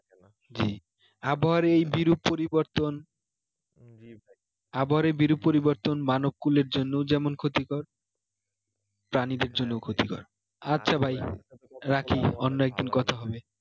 জ্বি আবহাওয়ার এই বিরূপ পরিবর্তন আবহাওয়ার এই বিরূপ পরিবর্তন মানব কূলের জন্য যেমন ক্ষতিকর প্রানীদের জন্যও ক্ষতিকর আচ্ছা ভাই রাখি অন্য একদিন কথা হবে